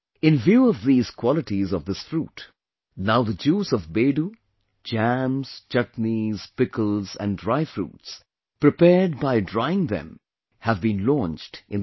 In view of these qualities of this fruit, now the juice of Bedu, jams, chutneys, pickles and dry fruits prepared by drying them have been launched in the market